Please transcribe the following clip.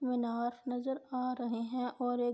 مینار نظر آرہے ہے اور یہ